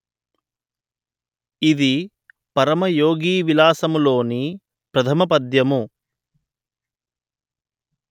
ఇది పరమయోగివిలాసములోని ప్రధమపద్యము